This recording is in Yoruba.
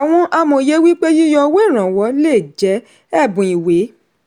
àwọn amòye wí pé yíyọ owó ìrànwọ́ lè jẹ́ ẹ̀bùn ìwé.